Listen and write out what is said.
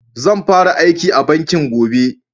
Zan fara aiki a banki gobe